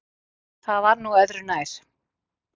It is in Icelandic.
En það var nú öðru nær.